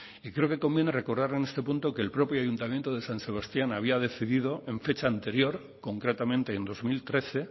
y creo que conviene recordar en este punto que el propio ayuntamiento de san sebastián había decidido en fecha anterior concretamente en dos mil trece